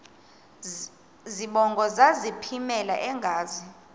zibongo zazlphllmela engazi